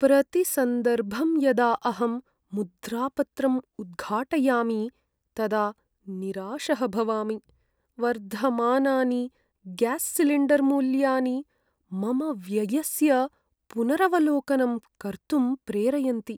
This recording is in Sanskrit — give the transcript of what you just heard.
प्रतिसन्दर्भं यदा अहं मुद्रापत्रम् उद्घाटयामि, तदा निराशः भवामि, वर्धमानानि ग्यास्सिलिण्डर्मूल्यानि मम व्ययस्य पुनरवलोकनं कर्तुम् प्रेरयन्ति।